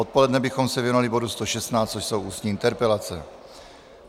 Odpoledne bychom se věnovali bodu 116, což jsou ústní interpelace.